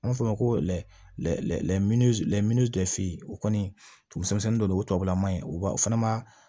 An b'a fɔ o ma ko o kɔni tugumisɛnnin dɔ de ye o tubabula man ɲi u b'a o fana ma